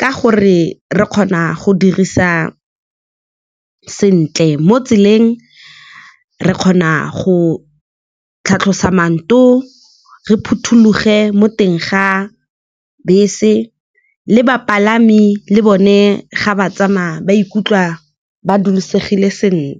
ka gore re kgona go dirisa sentle mo tseleng. Re kgona go tlhatlhosa , re phothuloge mo teng ga bese, le bapalami le bone ga ba tsamaya ba ikutlwa ba dulisegile sentle.